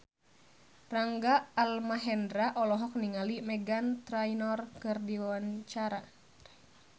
Rangga Almahendra olohok ningali Meghan Trainor keur diwawancara